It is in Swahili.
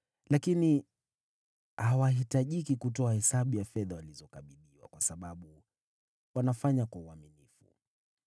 Lakini hawahitajiki kutoa hesabu ya fedha walizokabidhiwa, kwa sababu wanafanya kwa uaminifu.”